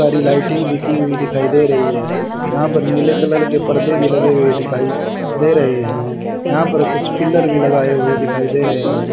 परी लाइटिंग लिखी हुई दिखाई दे रही है यहां पर नीले कलर के पर्दे भी लगे हुए दिखाई दे रहे हैं यहां पर कुछ पिलर भी लगाए हुए दिखाई दे रहे हैं।